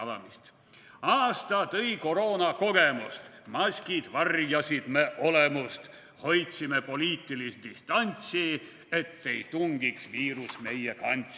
/ Aasta tõi koroonakogemust, / maskid varjasid me olemust, / hoidsime poliitilist distantsi, / et ei tungiks viirus meie kantsi.